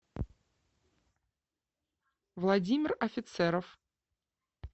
владимир офицеров